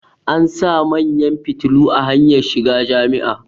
an sa manyan fitilu a hanyar shiga Jami'a